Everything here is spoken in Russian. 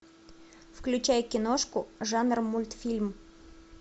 включай киношку жанр мультфильм